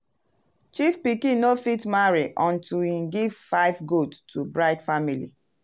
chief pikin no fit marry until he give five goat to bride family.